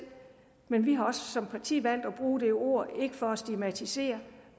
men vi har også som parti valgt at bruge det ord ikke for at stigmatisere